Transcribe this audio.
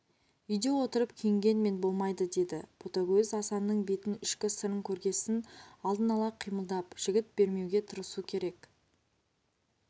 үйде отырып күйінгенмен болмайды деді ботагөз асанның бетін ішкі сырын көргесін алдын ала қимылдап жігіт бермеуге тырысу керек